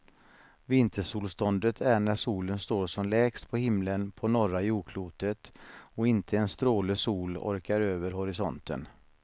Vintersolståndet är när solen står som lägst på himlen på norra jordklotet och inte en stråle sol orkar över horisonten.